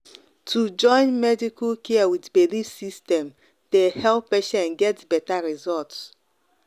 to join medical care with belief system dey help patients get better result.